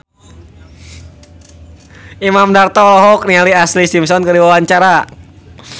Imam Darto olohok ningali Ashlee Simpson keur diwawancara